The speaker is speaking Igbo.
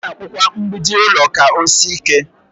A na-akpụ kwa mgbidi ụlọ ka ọ sie ike.